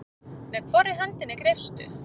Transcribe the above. Með hvorri hendinni greipstu?